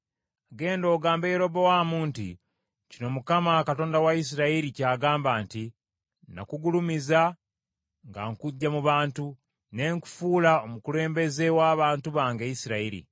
Genda ogambe Yerobowaamu nti kino Mukama , Katonda wa Isirayiri ky’agamba nti, ‘Nakugulumiza nga nkuggya mu bantu, ne nkufuula omukulembeze wa bantu bange Isirayiri.